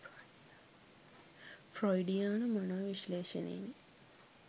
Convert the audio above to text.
ෆ්‍රොයිඩියානු මනෝ විශ්ලේෂණයෙනි.